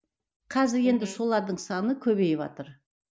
қазір енді солардың саны көбейіватыр